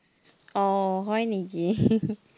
আহ হয় নেকি